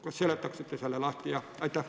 Kas te seletaksite selle lahti?